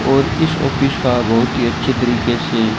और इस ऑफिस का बहुत ही अच्छे तरीके से--